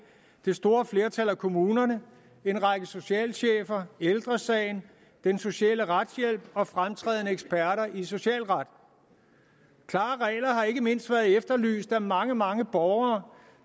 det store flertal af kommunerne en række socialchefer ældre sagen den sociale retshjælp og fremtrædende eksperter i socialret klare regler har ikke mindst været efterlyst af mange mange borgere